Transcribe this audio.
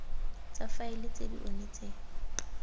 tsa faele tse di onetseng